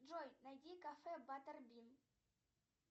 джой найди кафе баттербин